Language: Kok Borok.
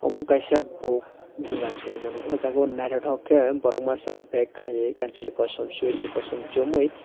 obo kaisa bo doganse hinuimano ohjaga o naithotok khe borok masa bag khaiye kanchwlui kosom sweatar kosom chumui.